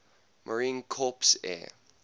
marine corps air